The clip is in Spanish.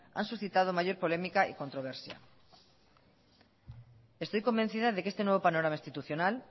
han suscitado mayor polémica y controversia estoy convencida de que este nuevo panorama institucional